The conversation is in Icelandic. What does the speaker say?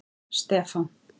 Stefán